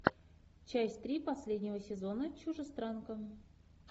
часть три последнего сезона чужестранка